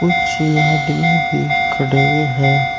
पीछे आदमी भी खड़े हैं।